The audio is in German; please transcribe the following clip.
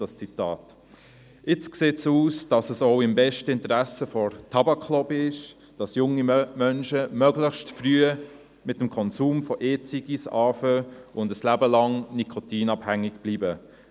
Nun scheint es auch im besten Interesse der Tabaklobby zu sein, dass junge Menschen möglichst früh mit dem Konsum von E-Zigaretten beginnen und ein Leben lang nikotinabhängig bleiben.